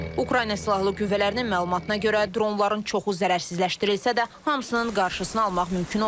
Ukrayna Silahlı Qüvvələrinin məlumatına görə, dronların çoxu zərərsizləşdirilsə də, hamısının qarşısını almaq mümkün olmayıb.